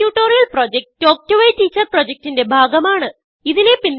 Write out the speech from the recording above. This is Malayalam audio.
spoken tutorial project talk to a teacher പ്രൊജക്റ്റ്ന്റെ ഭാഗമാണ്